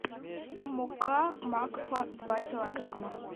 мука макфа два килограмма